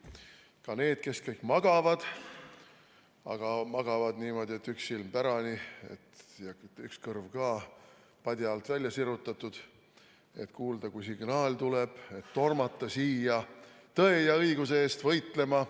Ka need, kes kõik magavad, aga magavad niimoodi, et üks silm pärani ja üks kõrv padja alt välja sirutatud, et kuulda, kui signaal tuleb, siis tormata siia tõe ja õiguse eest võitlema.